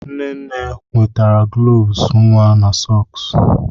Nne nne nwetara gloves nwa na sọks.